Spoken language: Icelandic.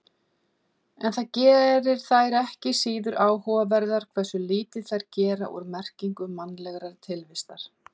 En það gerir þær ekki síður áhugaverðar hversu lítið þær gera úr merkingu mannlegrar tilvistar.